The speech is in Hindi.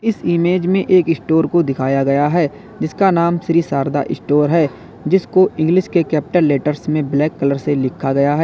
इस इमेज में एक स्टोर को दिखाया गया है जिसका नाम श्री शारदा स्टोर है जिसको इंग्लिश के कैपिटल लेटर्स में ब्लैक कलर्स से लिखा गया है।